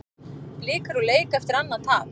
Blikar úr leik eftir annað tap